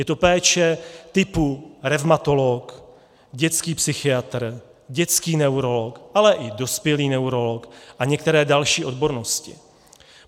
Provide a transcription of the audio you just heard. Je to péče typu revmatolog, dětský psychiatr, dětský neurolog, ale i dospělý neurolog a některé další odbornosti.